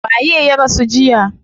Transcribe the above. Waye ya rasu jiya?